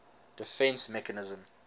defence mechanism